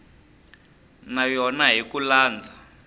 na yona hi ku landza